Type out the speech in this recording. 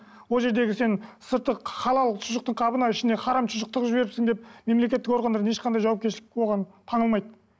ол жердегі сен сырты халал шұжықтың қабына ішіне харам шұжық тығып жіберіпсің деп мемлекеттік органдардан ешқандай жауапкершілік оған таңылмайды